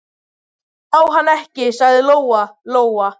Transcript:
Ég sá hann ekki, sagði Lóa-Lóa.